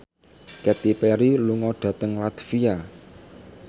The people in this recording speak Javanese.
Katy Perry lunga dhateng latvia